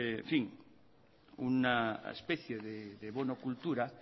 una especie de bono cultura